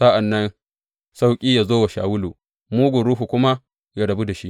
Sa’an nan sauƙi yă zo wa Shawulu, mugun ruhu kuma yă rabu da shi.